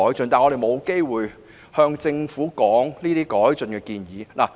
可是，我們沒有機會向政府表達這些改進的建議。